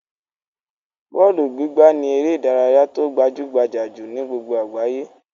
Bọ́ọ́lù gbígbá ni eré-idárayá tó gbajú-gbajà jù ni gbogbo àgbáyé.